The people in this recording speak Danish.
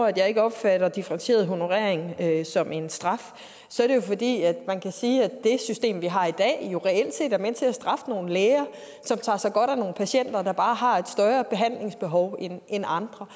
at jeg ikke opfatter differentieret honorering som en straf så er det jo fordi man kan sige at det system vi har i dag reelt set er med til at straffe nogle læger som tager sig godt af nogle patienter der bare har et større behandlingsbehov end andre